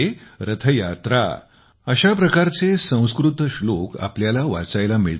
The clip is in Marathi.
रथयात्रा अशा प्रकारचे संस्कृत श्लोक आपल्याला वाचायला मिळतात